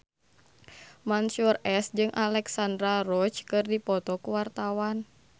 Mansyur S jeung Alexandra Roach keur dipoto ku wartawan